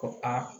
Ko aa